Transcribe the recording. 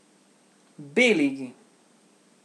B ligi.